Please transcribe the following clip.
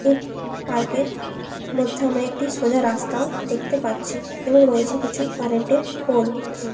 দেখতে পাচ্ছি এবং এর আশেপাশে রয়েছে অনেক--